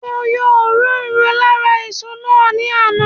Mo yọ òróró lára èso náà ní àná